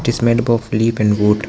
It is made up of leaf and wood.